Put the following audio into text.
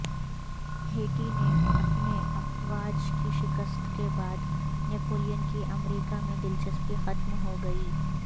Haiti میں اپنی افواج کی شکست کے بعد نپولین کی امریکہ میں دلچسپی ختم ہوگئی